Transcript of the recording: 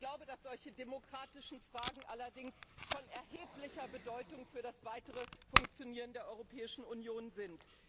Ich glaube, dass solche demokratischen Fragen allerdings von erheblicher Bedeutung für das weitere Funktionieren der Europäischen Union sind.